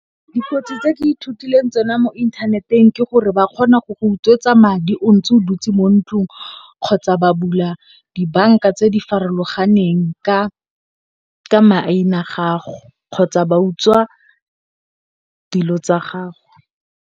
Dikotsi tse ke ithutileng tsona mo inthaneteng, ke gore ba kgona go go utswetswa madi o ntse o dutse mo ntlong kgotsa ba bula dibanka tse di farologaneng ka maina a gago kgotsa ba utswa dilo tsa gago.